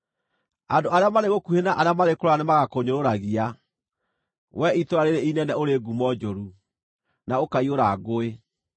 Andũ arĩa marĩ gũkuhĩ na arĩa marĩ kũraya nĩmagakũnyũrũragia, wee itũũra rĩĩrĩ inene ũrĩ ngumo njũru, na ũkaiyũra ngũĩ.